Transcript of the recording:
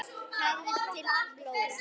Hafður til blóra?